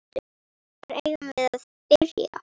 Hvar eigum við að byrja?